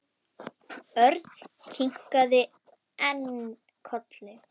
Örn kinkaði enn kolli.